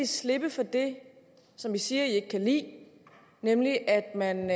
slippe for det som de siger de ikke kan lide nemlig at man